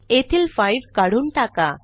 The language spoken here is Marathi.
येथील 5 काढून टाका